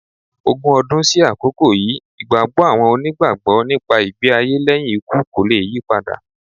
Ogun ọdún sí àkókò yìí, ìgbàgbọ́ àwọn Onígbàgbọ́ nípa ìgbé-ayé lẹ́yìn ikú kò le yípadà.